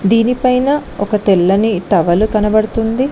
దీనిపైన ఒక తెల్లని టవలు కనబడుతుంది.